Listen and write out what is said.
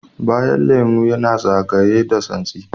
Bayan lemu yana zagayeye da tsansi.